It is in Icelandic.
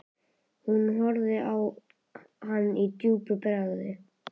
Hún horfði á hann döpur í bragði.